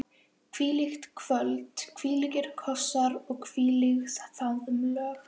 Hvílíkt kvöld, hvílíkir kossar, hvílík faðmlög.